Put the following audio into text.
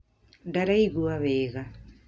Ndarigua wega